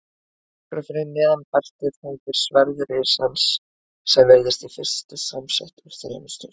Nokkru fyrir neðan beltið hangir sverð risans sem virðist í fyrstu samsett úr þremur stjörnum.